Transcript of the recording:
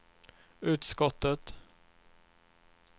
utskottet